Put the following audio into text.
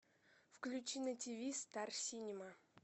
включи на тиви стар синема